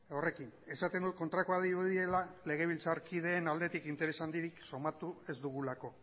horrekin esaten dut kontrakoa dirudiela legebiltzarkideen aldetik interes handirik sumatu ez dugulako